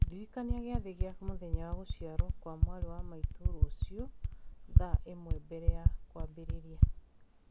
ndirikania gĩathĩ kĩa mũthenya wa gũciarũo kwa mwarĩ wa maitũ rũciũ thaa ĩmwe mbere ya kwambĩrĩria